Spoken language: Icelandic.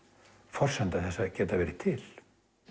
forsenda þess að geta verið til